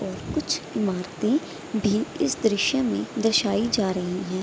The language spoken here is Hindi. और कुछ इमारते भी इस दृश्य में दर्शाई जा रही हैं।